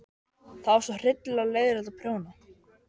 Einstaklingshyggjan, óttinn við að týnast, gleymast.